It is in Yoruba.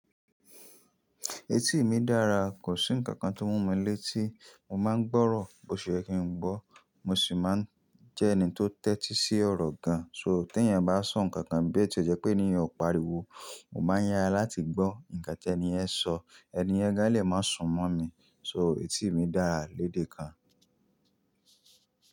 Etí mi dára, kò sí ǹkan kan tó mú mi létí mo máa ń gbọ́rọ̀. Bo ṣe ye kín gbọ́, mo sì máa ń jẹ́ ẹni tó tẹ́tí sí ọ̀rọ̀ gan. So tí ẹ̀yan bá sọ ǹkankan bo tíẹ jẹ́ pé ènì yen ò pariwo, mo máa yara láti gbọ́ ǹkan tí ẹni yẹn sọ, ẹni yẹn gan lè máa súnmọ́ mi. So etí mi dára lédè kan.